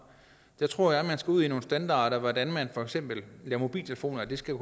der tror jeg man skal ud i nogle standarder for hvordan man for eksempel laver mobiltelefoner at det skal